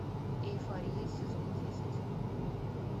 эйфория сезон десять